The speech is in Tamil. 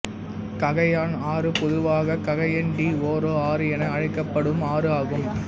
ககயான் ஆறு பொதுவாக ககயன் டி ஓரோ ஆறு என அழைக்கப்படும் ஆறு ஆகும்